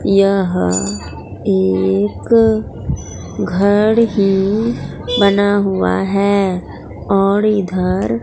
यह एक घर ही बना हुआ है और इधर।